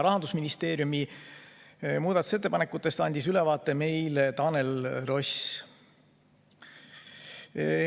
Rahandusministeeriumi muudatusettepanekutest andis ülevaate Tanel Ross.